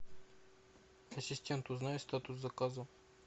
ассистент узнай статус заказа